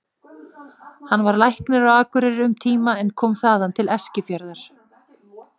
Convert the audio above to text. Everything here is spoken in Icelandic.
Hann var læknir á Akureyri um tíma en kom þaðan til Eskifjarðar.